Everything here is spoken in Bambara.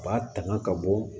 U b'a tanga ka bɔ